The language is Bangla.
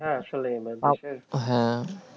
হ্যাঁ, আসলে আমাদের দেশে হ্যাঁ,